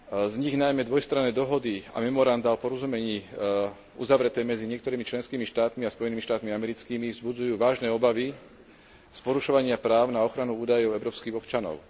Z nich najmä dvojstranné dohody a memorandá o porozumení uzavreté medzi niektorými členskými štátmi a Spojenými štátmi americkými vzbudzujú vážne obavy z porušovania práv na ochranu údajov európskych občanov.